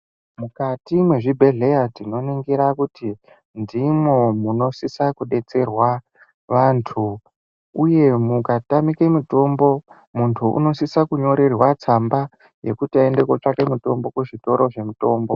Mukati mwezvibhedheya tinoringira kuti ndimwo munosisa kudetserwa vantu. Uye mukatanike mutombo, muntu unosise kunyorerwa tsamba yekuti aende kutsvake mutombo kuzvitoro zvemutombo.